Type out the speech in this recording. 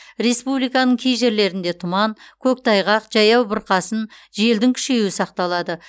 республиканың кей жерлерінде тұман көктайғақ жаяу бұрқасын желдің күшейюі сақталады